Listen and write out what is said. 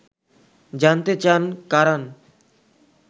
জানতে চান কারান